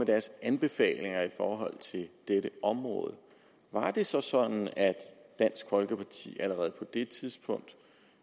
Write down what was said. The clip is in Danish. deres anbefalinger i forhold til dette område var det så sådan at dansk folkeparti allerede på det tidspunkt